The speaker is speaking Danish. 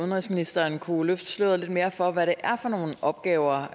udenrigsministeren kunne løfte sløret lidt mere for hvad det er for nogle opgaver